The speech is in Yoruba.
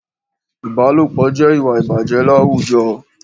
Ìbálòpọ̀ jẹ́ ìwà ìbàjẹ́ láwùjọ